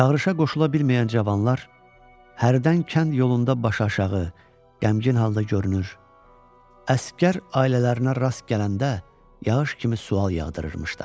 Çağırışa qoşula bilməyən cavanlar hərdən kənd yolunda başaşağı, qəmgin halda görünür, əsgər ailələrinə rast gələndə yağış kimi sual yağdırırmışlar.